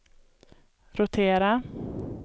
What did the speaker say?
rotera